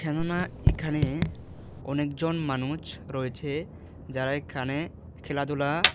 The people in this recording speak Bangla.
মনে হয় এখানে অনেকজন মানুছ রয়েছে যারা এখানে খেলাধুলা--